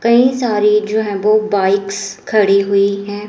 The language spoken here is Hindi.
कई सारी जो हैं वो बाइक्स खड़ी हुई हैं।